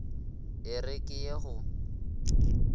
e re ke ye go